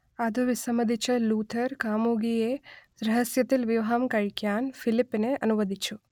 അതു വിസമ്മതിച്ച ലൂഥർ കാമുകിയെ രഹസ്യത്തിൽ വിവാഹം കഴിക്കാൻ ഫിലിപ്പിനെ അനുവദിച്ചു